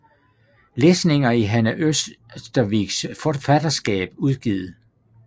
Lesninger i Hanne Ørstaviks forfatterskap udgivet